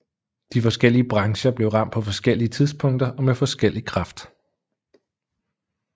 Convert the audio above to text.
De forskellige brancher blev ramt på forskellige tidspunkter og med forskellig kraft